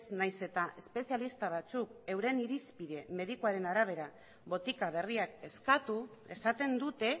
nahiz eta espezialista batzuk euren irizpide medikuaren arabera botika berriak eskatu esaten dute